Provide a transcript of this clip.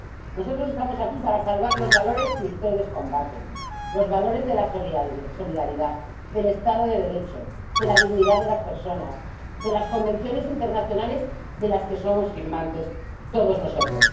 Nosotros estamos aquí para salvar los valores que ustedes combaten, los valores de la solidaridad, del Estado de Derecho, de la dignidad de las personas, de las convenciones internacionales, de las que somos firmantes todos nosotros.